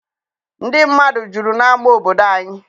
Ndị mmadụ juru n'ama obodo anyị.